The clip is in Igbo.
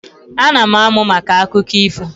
Ana m amụ maka akụkọ ifo